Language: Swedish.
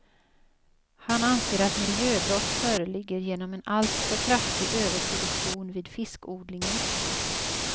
Han anser att miljöbrott föreligger genom en alltför kraftig överproduktion vid fiskodlingen.